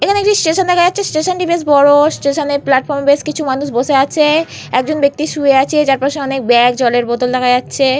এখানে একটি স্টেশন দেখা যাচ্ছে। স্টেশন টি বেশ বড়। স্টেশন এ প্লাটফর্ম এ বেশ কিছু মানুষ বসে আছে। একজন ব্যাক্তি শুয়ে আছে যার পাশে অনেক ব্যাগ জলের বোতল দেখা যাচ্ছে।